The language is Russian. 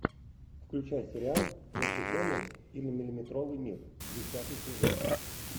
включай сериал насекомые или миллиметровый мир десятый сезон